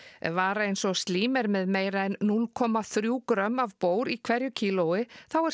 ef vara eins og slím er með meira en núll komma þrjú grömm af í hverju kílói þá er